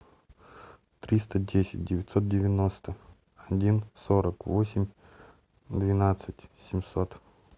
триста десять девятьсот девяносто один сорок восемь двенадцать семьсот